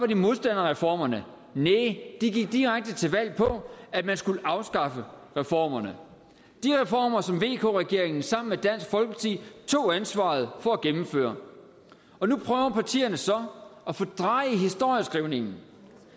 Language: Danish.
de modstandere af reformerne næh de gik direkte til valg på at man skulle afskaffe reformerne de reformer som vk regeringen sammen med dansk folkeparti tog ansvaret for at gennemføre og nu prøver partierne så at fordreje historieskrivningen